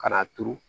Ka n'a turu